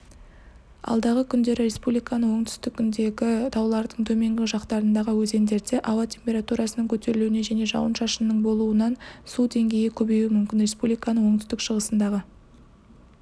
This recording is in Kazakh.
алдағы күндері республиканың оңтүстігіндегі таулардың төменгі жақтарындағы өзендерде ауа температурасының көтерілуіне және жауын-шашынның болуынан су деңгейі көбеюі мүмкін республиканың оңтүстік-шығысындағы